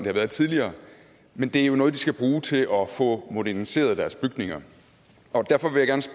har været tidligere men det er jo noget de skal bruge til at få moderniseret deres bygninger